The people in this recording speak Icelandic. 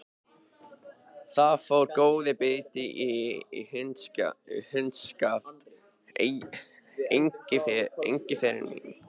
Þar fór góður biti í hundskjaft, Engiferinn minn.